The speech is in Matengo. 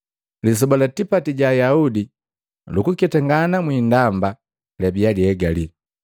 Lisoba la tipati ga Ayaudi lukutama mwi indamba labia liegali,